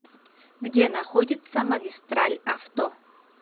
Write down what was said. где находится магистраль авто